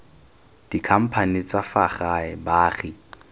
dikhamphane tsa fa gae baagi